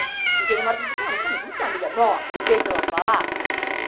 E chegou uma hora que a gente falou assim, não, mas calma, vamos ser amiga nossa e deixa ela para lá.